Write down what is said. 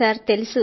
అవును సర్